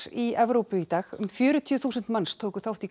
í Evrópu í dag um fjörutíu þúsund mannns tóku þátt í